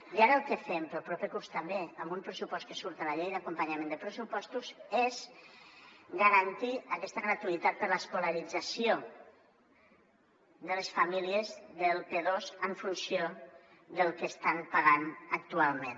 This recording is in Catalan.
i ara el que fem per al proper curs també amb un pressupost que surt a la llei d’acompanyament de pressupostos és garantir aques·ta gratuïtat per a l’escolarització de les famílies del p2 en funció del que estan pa·gant actualment